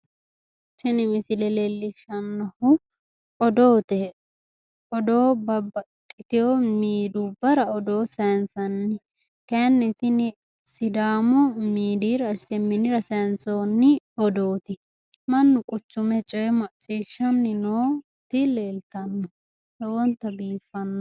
Tini misile leellishshannohu oodoote. Odoo babbaxxitewo midiyubbarra odoo sayinsnni. Kayinni tini sidaamu midiyira SMNra sayinsoonni odooti. Mannu quchime odoo macciishshanni nooti leeltanno lowo geeshsha baxissanno.